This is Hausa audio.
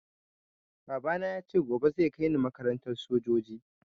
Baba na yace gobe zai kaini makarantar sojoji